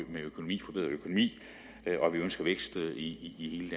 økonomi og at vi ønsker vækst i